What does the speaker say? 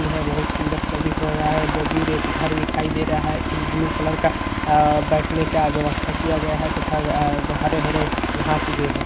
यह बोहोत सुंदर प्रतित हो रहा है बहोत दूर एक घर दिखाई दे रहा है एक ब्लू कलर का आ बैठने का व्यवस्था किया गया है तथा ए-ए हरे-हरे घास उगे हैं।